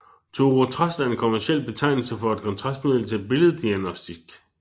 Thorotrast er en kommerciel betegnelse for et kontrastmiddel til billeddiagnostik